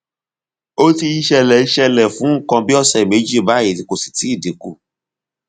ó ti ń ṣẹlẹ ń ṣẹlẹ fún nǹkan bí ọsẹ méjì báyìí kò sì tíì dín kù